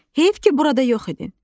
Heyf ki, burada yox idin.